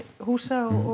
húsa og